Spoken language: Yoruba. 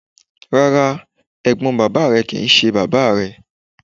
Rá́rá, ẹ̀gbọ́n bàbá re kì í ṣe bàbá rẹ.